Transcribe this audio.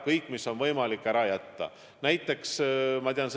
Kõik, mis on võimalik ära jätta, tuleb ära jätta.